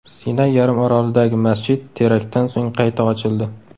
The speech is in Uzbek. Sinay yarim orolidagi masjid teraktdan so‘ng qayta ochildi.